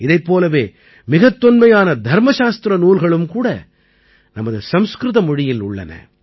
இதைப் போலவே மிகத் தொன்மையான தர்மசாஸ்திர நூல்களும் கூட நமது சம்ஸ்கிருத மொழியில் உள்ளன